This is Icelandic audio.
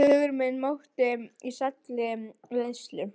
Hugur minn mókti í sælli leiðslu.